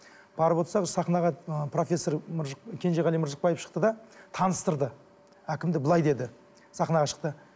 барып отырсақ сахнаға ы профессор кенжеғали мыржықпаев шықты да таныстырды әкімді былай деді сахнаға шықты